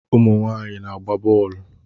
Ụmụ nwaanyị na-agba bọọlụ